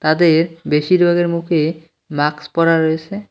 তাদের বেশির ভাগের মুখে মাস্ক পড়া রয়েছে।